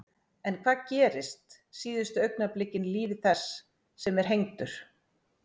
En hvað gerist síðustu augnablikin í lífi þess sem er hengdur?